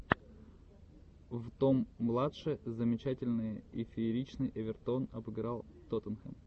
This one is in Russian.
в том младше замечательные и фееричный эвертон обыграл тоттенхэм